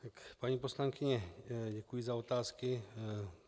Paní poslankyně, děkuji za otázky.